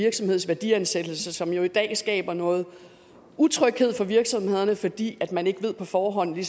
virksomheds værdiansættelse som jo i dag skaber noget utryghed for virksomhederne fordi man ikke på forhånd ved